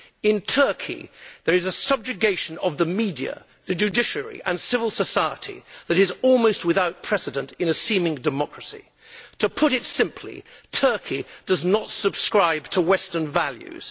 In Turkey there is a subjugation of the media, the judiciary and civil society that is almost without precedent in a seeming democracy. To put it simply, Turkey does not subscribe to Western values.